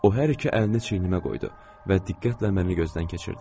O hər iki əlini çiynimə qoydu və diqqətlə məni gözdən keçirdi.